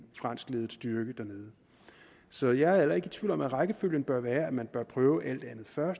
franskledet styrke så jeg er heller ikke tvivl om at rækkefølgen bør være at man bør prøve alt andet først